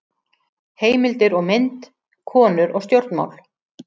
Heimildir og mynd: Konur og stjórnmál.